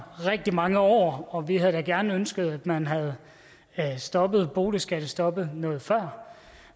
rigtig mange år og vi havde da gerne ønsket at man havde stoppet boligskattestoppet noget før